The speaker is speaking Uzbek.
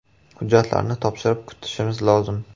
Hujjatlarni topshirib, kutishimiz lozim.